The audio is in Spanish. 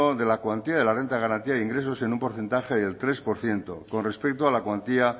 de la cuantía de la renta de garantía de ingresos en un porcentaje del tres por ciento con respecto a la cuantía